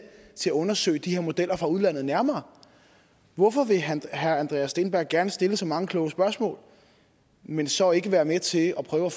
til at undersøge de her modeller fra udlandet nærmere hvorfor vil herre herre andreas steenberg gerne stille så mange kloge spørgsmål men så ikke være med til at prøve at